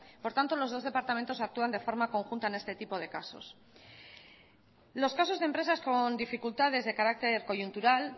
por tanto los dos departamentos actúan de forma conjunta en este tipo de casos los casos de empresas con dificultades de carácter coyuntural